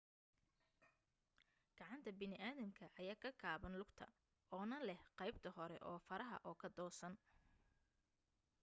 gacanta baniaadamka ayaa ka gaaban lugta oo na leh qaybta hore oo faraha oo ka toosan